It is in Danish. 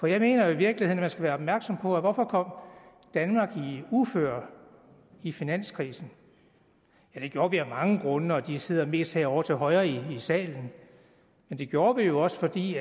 jeg mener i virkeligheden man skal være opmærksom på hvorfor danmark kom i uføre i finanskrisen det gjorde vi af mange grunde og de sidder mest herovre til højre i salen men det gjorde vi jo også fordi